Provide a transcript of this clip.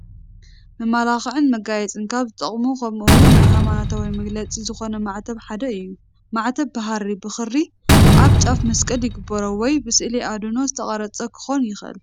መመላኽዕን መጋየፅን ካብ ዝጠቕሙ ከምኡ ውን ናይ ሃይማኖታዊ መግለፂ ዝኾነ ማዕተብ ሓደ እዩ፡፡ ማዕተብ ብሃሪ /ብኽሪ ኣብ ጫፉ መስቀል ይግበሮ ወይ ብስእሊ ኣድህኖ ዝተቐረፀ ክኾን ይኽእል፡፡